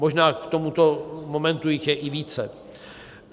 Možná k tomuto momentu jich je i více.